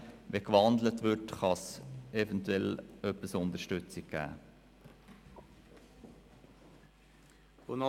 Wenn sie gewandelt würde, könnte es eventuell etwas an Unterstützung geben.